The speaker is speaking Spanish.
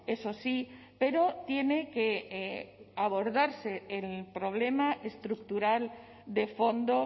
eso sí pero tiene que abordarse el problema estructural de fondo